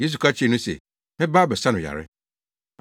Yesu ka kyerɛɛ no se, “Mɛba abɛsa no yare.”